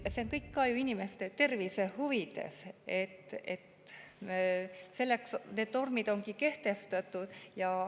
See on kõik inimeste tervise huvides, selleks need normid ongi kehtestatud.